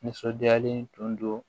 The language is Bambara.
Nisɔndiyalen tun don